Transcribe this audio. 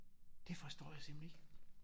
Det forstår jeg simpelthen ikke